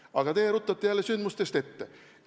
Aga teie ruttate jälle sündmustest ette.